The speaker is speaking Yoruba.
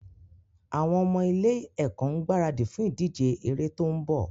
Àwọn ọmọ ilé-ẹ̀kọ́ ń gbaradì fún ìdíje eré tó ń bọ̀.